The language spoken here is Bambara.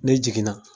Ne jiginna